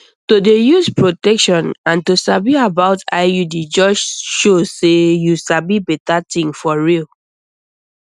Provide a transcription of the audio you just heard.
to dey use protection and to sabi about iud just show say you sabi better thing for real